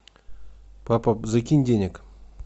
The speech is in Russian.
папа закинь денег